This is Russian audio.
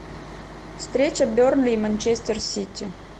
встреча бернли и манчестер сити